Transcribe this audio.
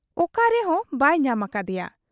ᱚᱠᱟ ᱨᱮᱦᱚᱸ ᱵᱟᱭ ᱧᱟᱢ ᱟᱠᱟᱫ ᱮᱭᱟ ᱾